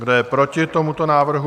Kdo je proti tomuto návrhu?